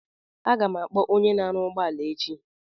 Aga m akpọ onye na aru ugbo ala echi